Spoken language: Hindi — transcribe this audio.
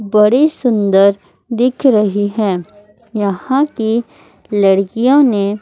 बड़ी सुंदर दिख रही है यहां की लड़कियों ने--